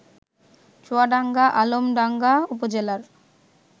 চুয়াডাঙ্গারআলমডাঙ্গা উপজেলার